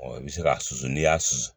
Ɔ i bɛ se ka susu n'i y'a susu